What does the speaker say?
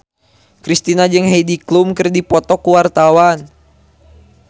Kristina jeung Heidi Klum keur dipoto ku wartawan